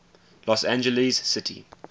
los angeles city